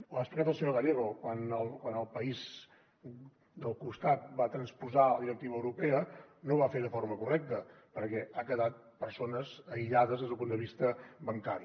ho ha explicat el senyor gallego quan el país del costat va transposar la directiva europea no ho va fer de forma correcta perquè han quedat persones aïllades des del punt de vista bancari